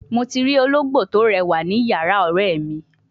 Mo ti ologbo to rewa ni iyara ore mi